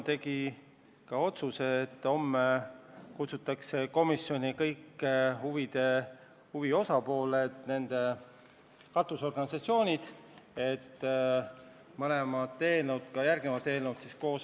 Tegime otsuse, et homme kutsutakse komisjoni kõik huvitatud osapooled ja nende katusorganisatsioonid, et analüüsida mõlemat eelnõu – ka seda, mis on arutusel järgmisena.